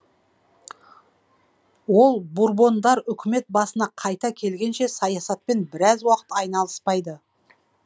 ол бурбондар үкімет басына қайта келгенше саясатпен біраз уақыт айналыспайды